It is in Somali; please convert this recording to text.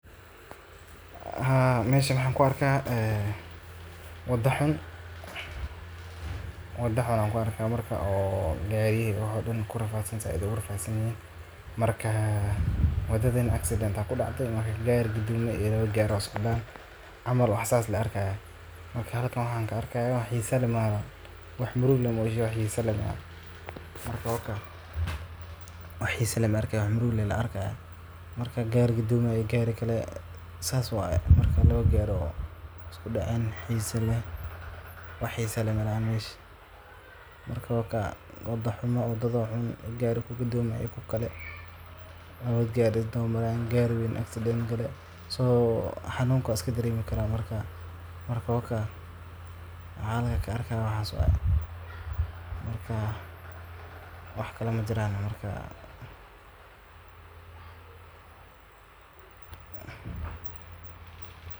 Haa meshan waxaan ku arkaaa wadaa xuun oo gariyihi dhan ku rafadsanyihin. Marka waddooyinka ay noqdaan kuwo jaranjaro leh, godad badan leh ama aan si fiican loo dayactirin, waxaa ka dhasha burburka gaadiidka, dib u dhac ku yimaada safarrada, iyo khataro badbaado oo hortaagan dadka isticmaala. Tani waxay sidoo kale hoos u dhigtaa ganacsiga iyo dhaqdhaqaaqa bulshada, maadaama alaabaha iyo adeegyada ay gaabi karaan ama qaali ku noqon karaan sababta waddo xumada. Dadku waxay waqti iyo dhaqaale ku lumiyaan dayactirka gaadiidkooda iyo gaadhista meelo muhiim ah sida isbitaalada, dugsiyada ama goobaha shaqada.